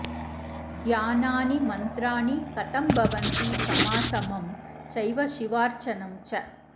ध्यानानि मन्त्राणि कथं भवन्ति समासमं चैव शिवार्चनं च